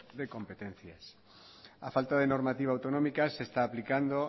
de competencias a falta de normativa autonómica se está aplicando